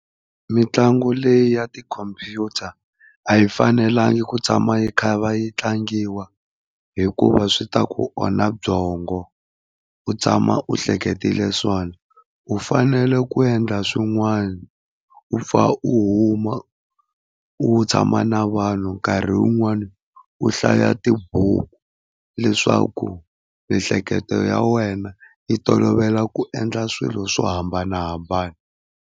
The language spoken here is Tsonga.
Mitlangu leyi ya tikhomphyuta a yi fanelangi ku tshama yi kha yi va yi tlangiwa hikuva swi ta ku onha byongo u tshama u hleketile swona. U fanele ku endla swin'wana u pfa u huma u, u tshama na vanhu nkarhi wun'wani u hlaya tibuku leswaku miehleketo ya wena yi tolovela ku endla swilo swo hambanahambana.